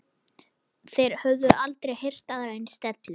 Þeir höfðu aldrei heyrt aðra eins dellu.